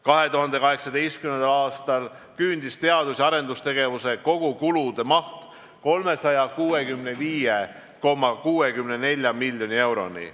2018. aastal küündis teadus- ja arendustegevuse kogukulude maht 365,64 miljoni euroni.